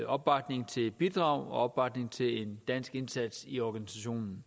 opbakning til et bidrag og opbakning til en dansk indsats i organisationen